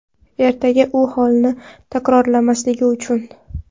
Ertaga u holni takrorlamasligi uchun.